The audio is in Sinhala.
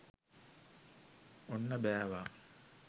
ඔන්න බෑවා!